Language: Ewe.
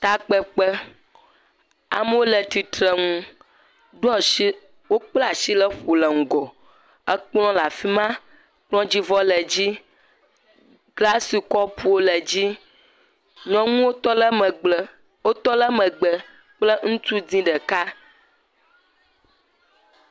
Takpekpe, amewo le titre nu ɖoasi, wokplasi le ƒo le ŋgɔ, ekpl lafima, kpldzivɔ ledzi, glasi kɔpuo le dzi, nyɔnuwo tɔle megble wotɔ le megbe kple ŋutsu dzɛ̃ ɖeka.